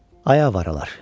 Ay avoralar!